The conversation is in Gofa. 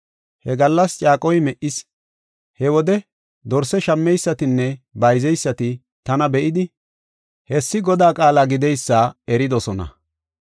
He gallas caaqoy me77is; he wode dorse shammeysatinne bayzaysati tana be7idi, hessi Godaa qaala gideysa eridosona.